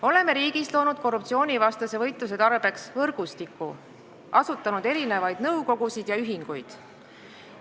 Oleme riigis loonud korruptsioonivastase võitluse tarbeks võrgustiku, asutanud erinevaid nõukogusid ja ühinguid.